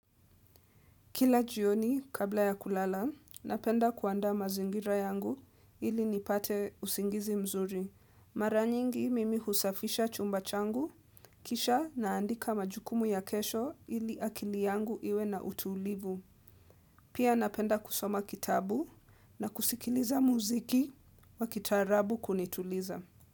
Kila jioni kabla ya kulala, napenda kuandaa mazingira yangu ili nipate usingizi mzuri. Maranyingi mimi husafisha chumba changu, kisha naandika majukumu ya kesho ili akili yangu iwe na utulivu. Pia napenda kusoma kitabu na kusikiliza muziki wa kitaarabu kunituliza.